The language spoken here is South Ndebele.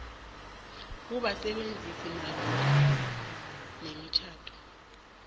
kubasebenzisi malungana nemitjhado